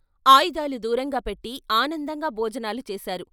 ఆయుధాలు దూరంగా పెట్టి ఆనందంగా భోజనాలు చేశారు.